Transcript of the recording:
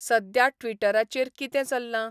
सद्या ट्विटराचेर कितें चल्लां'?